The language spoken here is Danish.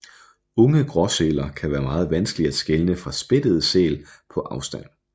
Unge gråsæler kan være meget vanskelige at skelne fra spættede sæl på afstand